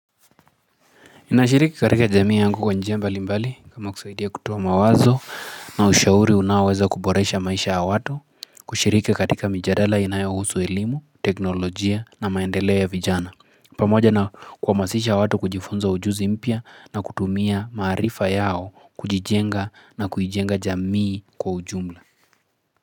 Ninashiriki katika jamii yangu kwenye mbali mbali kama kusaidia kutoa mawazo na ushauri unaoweza kuboresha maisha ya watu kushiriki katika mijadala inayohusu elimu, teknolojia na maendelea ya vijana. Pamoja na kuhamasisha watu kujifunza ujuzi mpya na kutumia maarifa yao kujijenga na kuijenga jamii kwa ujumla.